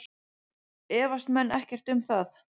Efast menn ekkert um það?